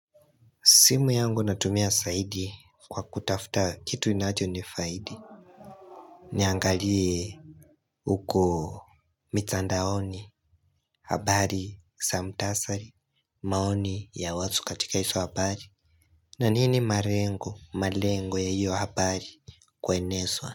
Simu yangu natumia saidi kwa kutafuta kitu inachonifaidi. Niangalie uko mitandaoni, habari, sa mtasari, maoni ya watu katika iso habari. Na nini marengo, malengo ya hiyo habari kueneswa.